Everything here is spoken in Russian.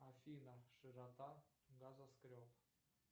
афина широта газоскреб